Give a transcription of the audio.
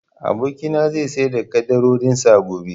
Abokina na zai sayar da ƙaddarorin sa gobe